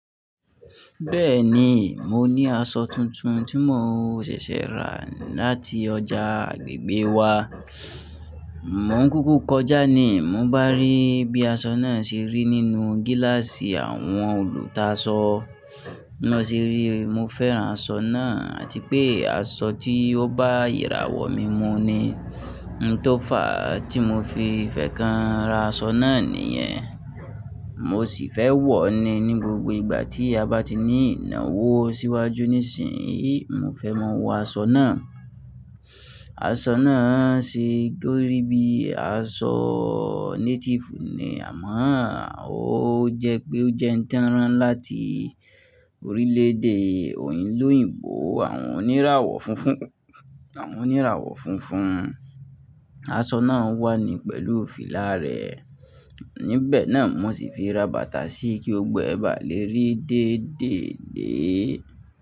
Bẹ́ẹ̀ni, mo ní aṣọ tuntun tí mo ṣẹ̀ṣẹ̀ rà láti ọjà agbègbè wa. Mó ń kúkú kọjá ni mo bá rí bí aṣọ náà ṣe rí nínú gíláàsì àwọn olùta aṣọ. Bi mo ṣe rí, mo fẹ́ran aṣọ náà àti pé aṣọ tí ó bá iráwọ̀ mi mu ni. Ohun tó fà á tí mo fi fẹ́ kan ra aṣọ náà nìyẹn. Mo sì fẹ́ wọ̀ ọ́ ni ní gbogbo ìgbà tí a bá ti ní ìnáwó síwájú nísinyìí, mo fẹ́ máa wọ aṣọ náà. Aṣọ náà ṣe óri bí i aṣọ native ni, àmọ́ ó jẹ́ pé ó jẹ́ ń tanrán láti orílẹ̀èdè òyìnlóyìnbó àwọn oníràwọ̀ funfun. Àwọn oníràwọ̀ funfun. Aṣọ náà wà ní pẹ̀lú fílà rẹ̀. Níbẹ̀ náà mo sì fi ra bàtà sí i kí gbogbó ẹ bà lé rí déèdèèdée.